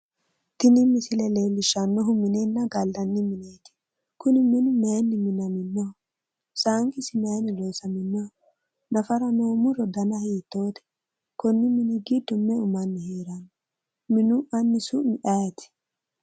Tini misile leellishannohu minenna gallanni mineeti. Kuni minu maayiinni minaminoho? Saanqisi maayiinni loosaminnoho? Nafara noo muro dana hiittoote? Konni manni giddo meu manni heeranno? Minu anni su'mi ayeeti?